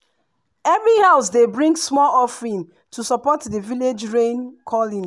every house dey bring small offering to support the village rain-calling.